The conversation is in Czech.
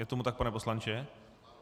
Je tomu tak, pane poslanče?